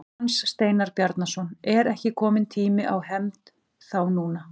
Hans Steinar Bjarnason: Er ekki kominn tími á hefnd þá núna?